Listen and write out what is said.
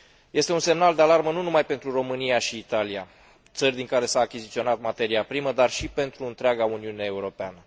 Este un semnal de alarmă nu numai pentru România și Italia, țări din care s a achiziționat materia primă, dar și pentru întreaga Uniune Europeană.